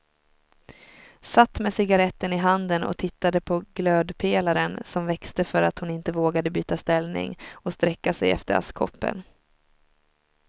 Satt med cigaretten i handen och tittade på glödpelaren som växte för att hon inte vågade byta ställning och sträcka sig efter askkoppen.